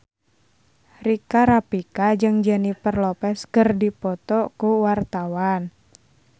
Rika Rafika jeung Jennifer Lopez keur dipoto ku wartawan